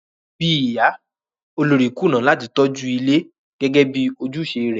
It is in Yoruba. Bíi ìyá, olórí kùnà láti tọ́jú ilé gẹ́gẹ́ bi ojúùse rẹ̀